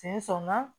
Sen sɔnna